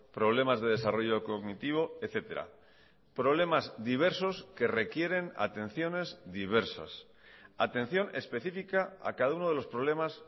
problemas de desarrollo cognitivo etcétera problemas diversos que requieren atenciones diversas atención específica a cada uno de los problemas